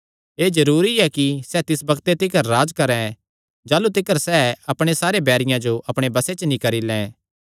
एह़ जरूरी ऐ कि सैह़ तिस बग्ते तिकर राज्ज करैं जाह़लू तिकर सैह़ अपणे सारे बैरियां जो अपणे बसे च नीं करी लैं